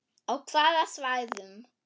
Á hvaða svæðum?